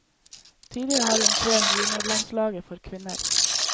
Tidligere har han trent juniorlandslaget for kvinner.